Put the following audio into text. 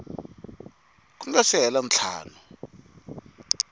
ku nga si hela ntlhanu